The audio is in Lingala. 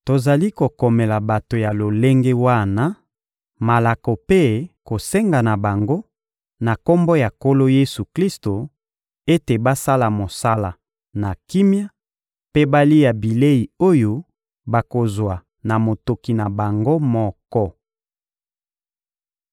Tozali kokomela bato ya lolenge wana malako mpe kosenga na bango, na Kombo ya Nkolo Yesu-Klisto, ete basala mosala na kimia mpe balia bilei oyo bakozwa na motoki na bango moko.